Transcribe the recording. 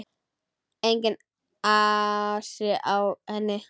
Enginn asi á henni.